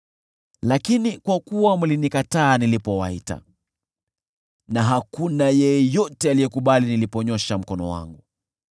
Lakini kwa kuwa mlinikataa nilipowaita na hakuna yeyote aliyekubali niliponyoosha mkono wangu,